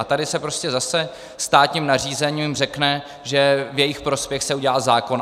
A tady se prostě zase státním nařízením řekne, že v jejich prospěch se udělá zákon.